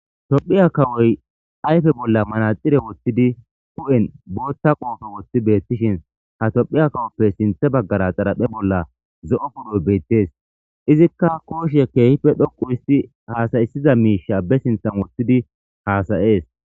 Tophphiya kawoy ayfe bolla manaxire woththidi huphphen boththa qoppe woththidi betishin ha tophphiya kawoppe sinththe baggera xaraphphe bolla zo'opo'oy bettes izas koshshe kehippe dhoqqu oththidi hasaissiza mishsha be sinththan woththidi hasa'es.